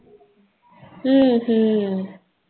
உம்